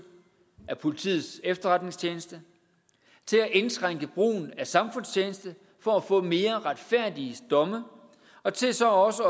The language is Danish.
af politiets efterretningstjeneste til at indskrænke brugen af samfundstjeneste for at få mere retfærdige domme og til så også